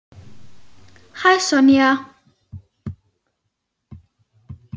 Hæ, Sonja.